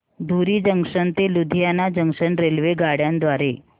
धुरी junction ते Ludhiana junction रेल्वेगाड्यां द्वारे